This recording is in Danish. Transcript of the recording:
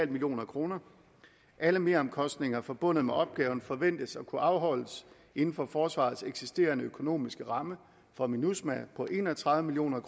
million kroner alle meromkostninger forbundet med opgaven forventes at kunne afholdes inden for forsvarets eksisterende økonomiske ramme for minusma på en og tredive million